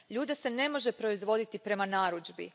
Ljude se ne može proizvoditi prema narudžbi.